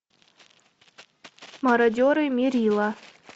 мародеры меррилла